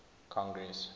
congress